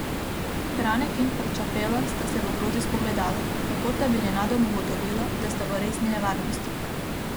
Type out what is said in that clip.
Franek in Frčafela sta se v grozi spogledala, kakor da bi nenadoma ugotovila, da sta v resni nevarnosti.